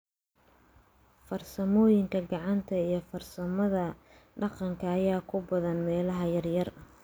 Farsamooyinka gacanta iyo farsamada dhaqanka ayaa ku badan meelaha yaryar.